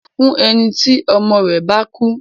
Àjálù ńlá ni fún ẹni tí ọmọ rẹ̀ bá kú.